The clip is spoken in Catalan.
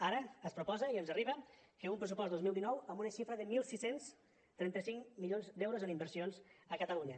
ara es proposa i ens arriba un pressupost dos mil dinou amb una xifra de setze trenta cinc milions d’euros en inversions a catalunya